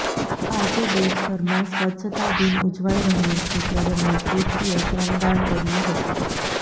આજે દેશભરમાં સ્વચ્છતા દિન ઉજવાઇ રહ્યો છે ત્યારે મંત્રીશ્રીએ શ્રમદાન કર્યું હતું